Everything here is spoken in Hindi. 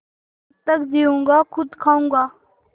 जब तक जीऊँगा खुद खाऊँगा